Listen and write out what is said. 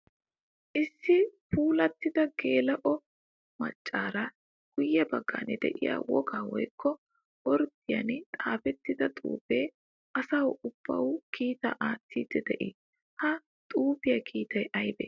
Issi puulatidda geela'o maccari guye bagan de'iya wogga woykko orddiyan xaafettidda xuufe asawu aybba kiitta aattidde de'i? Ha xuufiya kiittay aybbe?